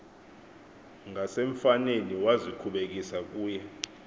ngasemfaneni wazikhubekisa kuye